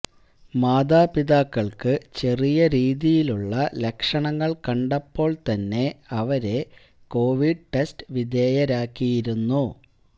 മാതാപിതാക്കൾക്ക് ചെറിയ രീതിയിലുള്ള ലക്ഷണങ്ങൾ കണ്ടപ്പോൾ തന്നെ അവരെ കോവിഡ് ടെസ്റ്റ് വിധേയരാക്കിയിരുന്നു